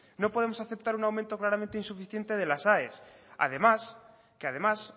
no podemos aceptar un aumento claramente insuficiente de las aes además que además